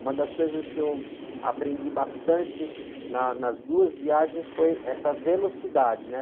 Uma das coisas que eu aprendi bastante na, nas duas viagens foi essa velocidade, né?